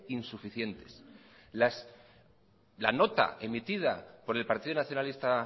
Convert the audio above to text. insuficientes la nota emitida por el partido nacionalista